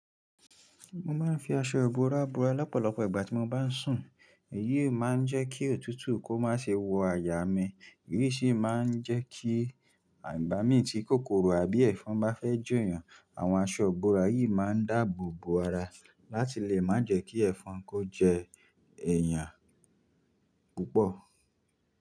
Mo máa ń fi aṣọ ìbora bora lọ́pọ̀lọpọ̀ ìgbà tí mo bá ń sùn. Èyí máa ń jẹ́ kí òtútù kó má ṣe wo àyà mi, eyí sì máa ń jẹ́ kí à ìgba mi ti kòkòrò àbí ẹ̀fọn bá fẹ́ je èèyàn, àwọn aṣọ ìbora yìí máa ń dáàbò bo ara láti lè má jẹ́ kí ẹ̀fọn kó jẹ èèyàn púpọ̀.